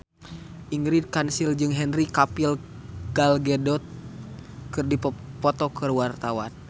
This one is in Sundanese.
Ingrid Kansil jeung Henry Cavill Gal Gadot keur dipoto ku wartawan